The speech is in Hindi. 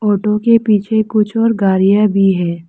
ऑटो के पीछे कुछ और गाड़ियां भी हैं।